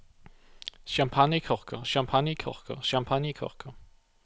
champagnekorker champagnekorker champagnekorker